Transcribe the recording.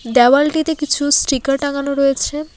দেওয়ালটিতে কিছু স্টিকার টাঙানো রয়েছে।